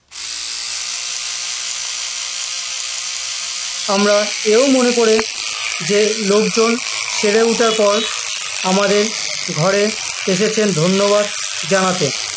আমার ও মনে পরে যে লোকজন সেরে ওঠার পর আমাদের ঘরে এসেছেন ধন্যনাদ জানাতে